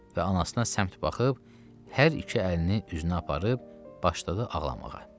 Və anasına səmt baxıb, hər iki əlini üzünə aparıb başladı ağlamağa.